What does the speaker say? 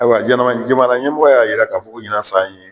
Ayiwa jamana ɲɛmɔgɔ y'a jira k'a fɔ ɲinan san in ye